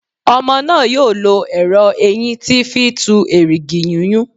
Ọmọ náà yóò lọ ẹrọ eyín tí fí tù erìgì yúnyún